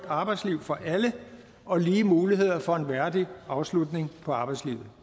arbejdsliv for alle og lige muligheder for en værdig afslutning på arbejdslivet